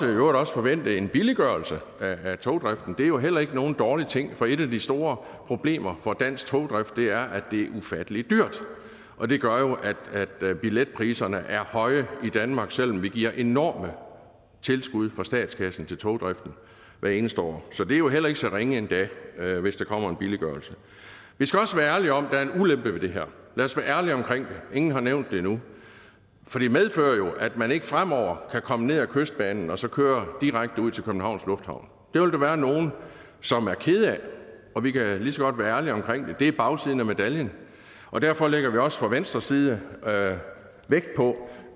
øvrigt også forvente en billiggørelse af togdriften det er jo heller ikke nogen dårlig ting for et af de store problemer for dansk togdrift er at det er ufattelig dyrt og det gør jo at billetpriserne er høje i danmark selv om vi giver enorme tilskud fra statskassen til togdriften hvert eneste år så det er jo heller ikke så ringe endda hvis der kommer en billiggørelse vi skal også være ærlige om at der er en ulempe ved det her lad os være ærlige omkring det ingen har nævnt det endnu for det medfører jo at man ikke fremover kan komme med kystbanen og så køre direkte ud til københavns lufthavn det vil der være nogle som er kede af og vi kan lige så godt være ærlige omkring det det er bagsiden af medaljen og derfor lægger vi også fra venstres side vægt på